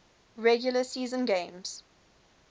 regular season games